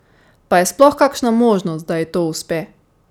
Pa je sploh kakšna možnost da ji to uspe?